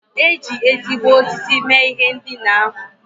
E ji ezigbo osisi mee ihe ndina ahụ.